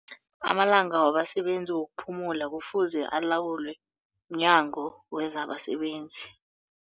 Amalanga wabasebenzi wokuphumula kufuze alawulwe mNyango wezabaSebenzi.